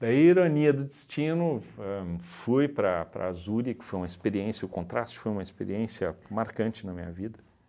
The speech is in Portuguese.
Daí, ironia do destino, ahn fui para para Zurich, foi uma experiência, o contraste foi uma experiência marcante na minha vida.